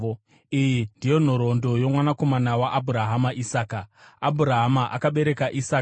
Iyi ndiyo nhoroondo yomwanakomana waAbhurahama, Isaka. Abhurahama akabereka Isaka,